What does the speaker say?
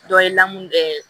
Dɔ ye lamu kɛ